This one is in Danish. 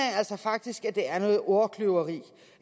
faktisk det er noget ordkløveri